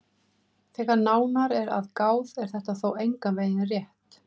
Þegar nánar er að gáð er þetta þó engan veginn rétt.